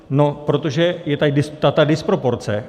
No protože je tady ta disproporce.